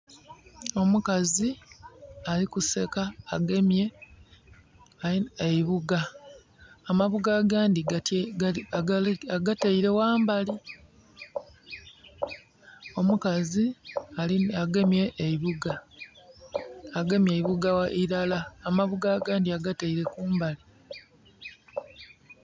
Omukazi ali kuseka agemye eibuga amabuga agandhi agateire wambali. Omukazi agemye eibuga, agemye eibuga ilala. Amabuga agandi agateire kumbali